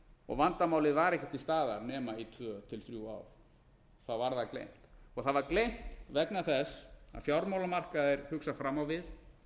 og vandamálið var ekki til staðar nema í tvö eða þrjú ár þá var það gleymt það var gleymt vegna þess að fjármálamarkaðir hugsa fram á við